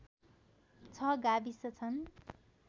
६ गाविस छन्